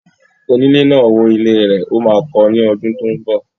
Onílé náà wó ilé rẹ̀. Ó máa kọ ní ọdún tó ń bọ̀.